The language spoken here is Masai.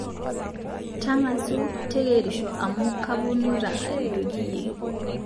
Tangasu teyerisho amu kuponuta aretoki iyie